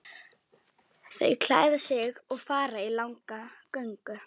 Þau klæða sig og fara í langa göngu.